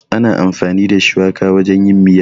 Ana amfani da shuwaka wajen yin miya.